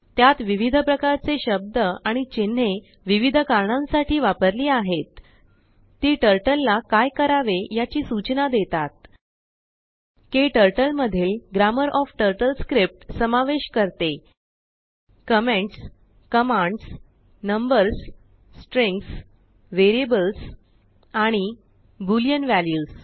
त्यात विविध प्रकारचे शब्द आणि चिन्हे विविध कारणांसाठी वापरलीआहेत तीटर्टलला काय करावे याचीसूचना देतात KTurtleमधीलGrammar ओएफ TurtleScriptसमावेश करते comments commands numbers strings variables आणि बुलिअन वॅल्यूस